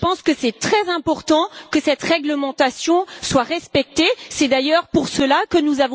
Je pense qu'il est très important que cette réglementation soit respectée, c'est d'ailleurs pour cela que nous avons